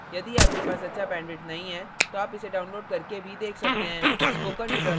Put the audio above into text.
यदि आपके पास अच्छा bandwidth नहीं है तो आप इसको download करने और देख सकते हैं